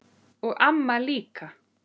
Og amma líka.